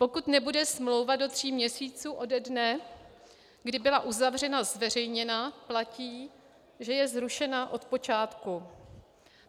Pokud nebude smlouva do tří měsíců ode dne, kdy byla uzavřena, zveřejněna, platí, že je zrušena od počátku.